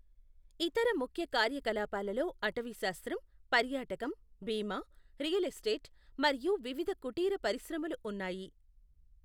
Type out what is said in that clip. ఇతర ముఖ్య కార్యకలాపాలలో అటవీశాస్త్రం, పర్యాటకం, బీమా, రియల్ ఎస్టేట్, మరియు వివిధ కుటీర పరిశ్రమలు ఉన్నాయి.